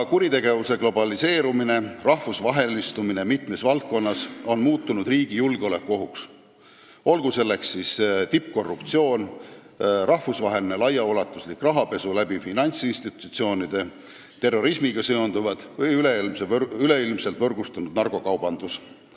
Kuritegevuse globaliseerumine ja rahvusvahelistumine mitmes valdkonnas on muutunud riigile julgeolekuohuks, olgu selleks kuritegevuseks siis tippkorruptsioon, rahvusvaheline laiaulatuslik rahapesu finantsinstitutsioonide kaudu, terrorismiga seonduvad kuriteod või üleilmselt võrgustunud narkokaubandus.